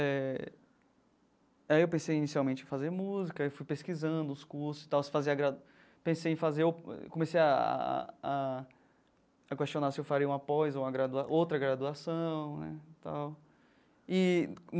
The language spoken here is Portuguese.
Eh aí eu pensei inicialmente em fazer música, aí fui pesquisando os cursos tal, se fazia gra pensei em fazer o comecei ah a questionar se eu faria uma pós ou uma gradua outra graduação né tal e.